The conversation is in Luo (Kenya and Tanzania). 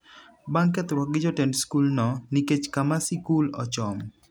bang'kethruok gi jotend skul no nikech kama sikul ochomo